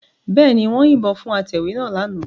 Bẹ́ẹ̀ ni, wọ́n yìnbọn fún atẹ̀wé náà lánàá